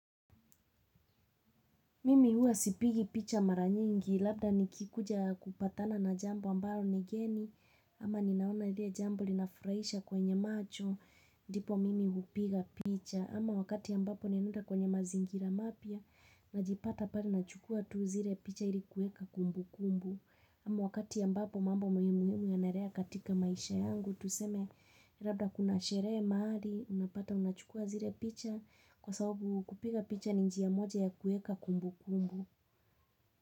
Mimi huwa sipigi picha mara nyingi, labda nikikuja kupatana na jambo ambalo ni geni, ama ninaona lile jambo linafurahisha kwenye macho, ndipo mimi hupiga picha, ama wakati ambapo nimeenda kwenye mazingira mapya, najipata pale nachukua tu zile picha ili kuweka kumbukumbu, ama wakati ambapo mambo muhimu yanaendelea katika maisha yangu, tuseme, labda kuna sherehe mahali, unapata unachukua zile picha, kwa sababu kupiga picha ni njia moja ya kuweka kumbukumbu.